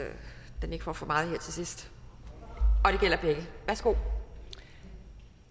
at den ikke får for meget her til sidst og